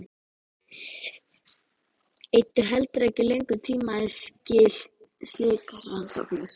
Eyddu heldur ekki löngum tíma í slíkar rannsóknir.